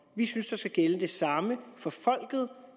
vi synes der skal gælde det samme for folket